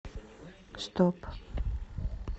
стоп